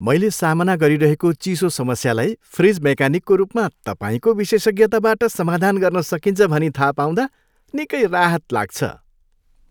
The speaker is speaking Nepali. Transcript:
मैले सामना गरिरहेको चिसो समस्यालाई फ्रिज मेकानिकको रूपमा तपाईँको विशेषज्ञताबाट समाधान गर्न सकिन्छ भनी थाहा पाउँदा निकै राहत लाग्छ।